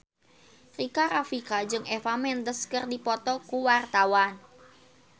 Rika Rafika jeung Eva Mendes keur dipoto ku wartawan